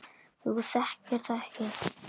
Þú þekkir það ekki!